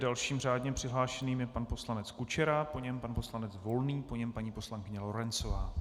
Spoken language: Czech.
Dalším řádně přihlášeným je pan poslanec Kučera, po něm pan poslanec Volný, po něm paní poslankyně Lorencová.